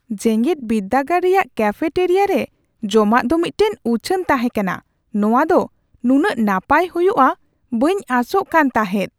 ᱡᱮᱜᱮᱫ ᱵᱤᱨᱫᱟᱹᱜᱟᱲ ᱨᱮᱭᱟᱜ ᱠᱮᱯᱷᱮᱴᱟᱨᱤᱭᱟ ᱨᱮ ᱡᱚᱢᱟᱜ ᱫᱚ ᱢᱤᱫᱴᱟᱝ ᱩᱪᱷᱟᱹᱱ ᱛᱟᱦᱮᱸ ᱠᱟᱱᱟ ᱾ ᱱᱚᱶᱟ ᱫᱚ ᱱᱩᱱᱟᱹᱜ ᱱᱟᱯᱟᱭ ᱦᱩᱭᱩᱜᱼᱟ ᱵᱟᱹᱧ ᱟᱸᱥᱚᱜ ᱠᱟᱱ ᱛᱟᱦᱮᱸᱫ ᱾